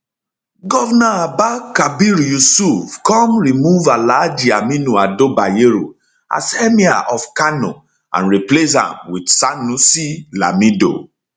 govnor abba abba kabir yusuf come remove alhaji aminu ado bayero as emir of kano and replace am wit sanusi lamido